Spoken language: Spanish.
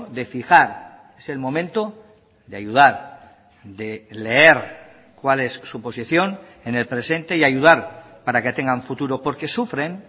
de fijar es el momento de ayudar de leer cuál es su posición en el presente y ayudar para que tengan futuro porque sufren